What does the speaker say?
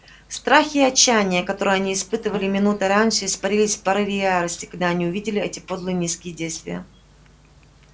страх и отчаяние которое они испытывали минутой раньше испарились в порыве ярости когда они увидели эти подлые низкие действия